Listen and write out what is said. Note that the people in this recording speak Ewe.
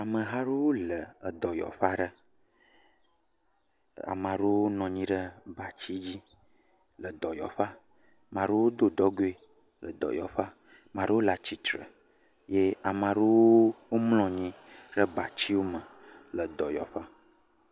Ameha aɖewo le dɔyɔƒe aɖe. Ame aɖewo nɔ anyi ɖe bati dzi le dɔyɔƒea maɖewo do dɔgoe le dɔyɔƒea, maɖewo le atsitre ye ame aɖewo mlɔ anyi ɖe bati me le dɔyɔƒea.